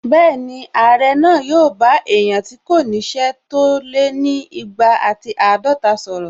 Bẹ́ẹ̀ni, Ààrẹ náà yóò bá èèyàn tí kò ní ṣẹ́ tó lé ni igba àti àádọta sọ̀rọ̀